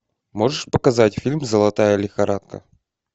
можешь показать фильм золотая лихорадка